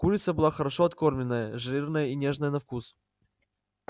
курица была хорошо откормленная жирная и нежная на вкус